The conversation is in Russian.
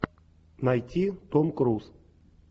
найти том круз